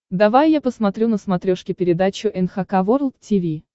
давай я посмотрю на смотрешке передачу эн эйч кей волд ти ви